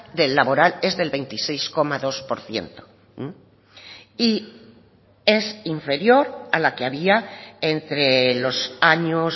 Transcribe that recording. del laboral es del veintiséis coma dos por ciento y es inferior a la que había entre los años